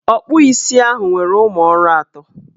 Ọkpụ isi ahụ nwere ụmụọrụ ato.